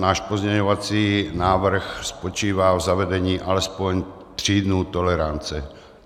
Náš pozměňovací návrh spočívá v zavedení alespoň tří dnů tolerance.